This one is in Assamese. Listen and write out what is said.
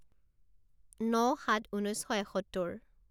ন সাত ঊনৈছ শ এসত্তৰ